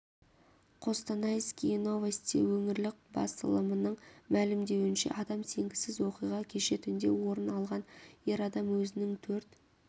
костанайские новости өңірлік басылымының мәлімдеуінше адам сенгісіз оқиға кеше түнде орын алған ер адам өзінің төрт